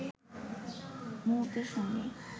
মুহূর্তের সঙ্গে